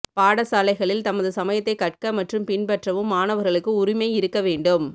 பாடசாலைகளில் தமது சமயத்தைக் கற்க மற்றும் பின்பற்றவும் மாணவர்களுக்கு உரிமை இருக்க வேண்டும்